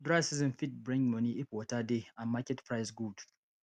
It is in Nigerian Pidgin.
dry season fit bring money if water dey and market price good